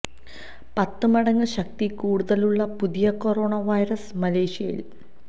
പത്ത് മടങ്ങ് ശക്തി കൂടുതലുള്ള പുതിയ കൊറോണ വൈറസ് മലേഷ്യയില്